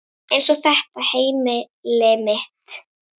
Eins og þetta heimili mitt!